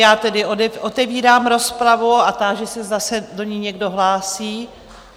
Já tedy otevírám rozpravu a táži se, zda se do ní někdo hlásí.